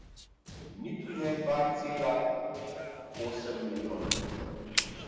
Niti ne dva cela osem milijona.